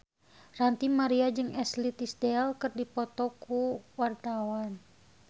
Ranty Maria jeung Ashley Tisdale keur dipoto ku wartawan